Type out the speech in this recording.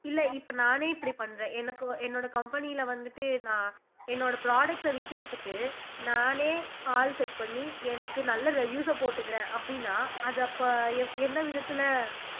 இல்ல இப்ப நானே இப்படி பண்றேன் எனக்கு என்னோட company ல வந்துட்டு நான் என்னோட products அ விக்கிறதுக்கு நானே ஆள் set பண்ணி எனக்கு நல்ல reviews அ போட்டுக்கிறேன் அப்படின்னா அத அப்ப எந்த விதத்துல